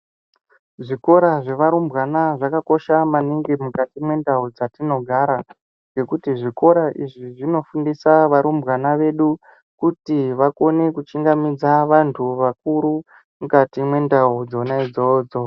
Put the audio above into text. Zvikora zvevarumbwana zvakakosha maningi mukati mendau dzatinogara ngekuti zvikora izvi zvinofundisa varumbwana vedu kuti vakone kuchingamidza vantu vakuru mukati mendau dzona idzodzo.